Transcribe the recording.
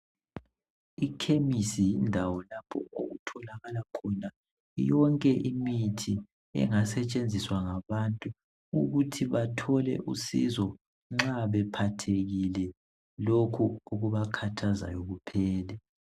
Ikhemisi yindawo lapho okutholakala khona yonke imithi engasetshenziswa ngabantu ukuthi bathole usìzo nxa bephathekile lokho okubakhathazayo kuphele.